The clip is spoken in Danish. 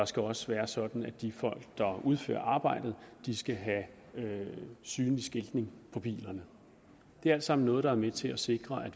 skal også være sådan at de folk der udfører arbejdet skal have have synlig skiltning på bilerne det er alt sammen noget der er med til at sikre at